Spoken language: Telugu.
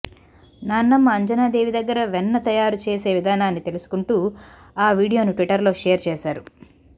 నాన్నమ్మ అంజనా దేవి దగ్గర వెన్న తయారు చేసే విధానాన్ని తెలుసుకుంటూ ఆ వీడియోను ట్విట్టర్లో షేర్ చేశారు